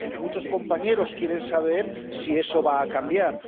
Muchos compañeros quieren saber si eso va a cambiar.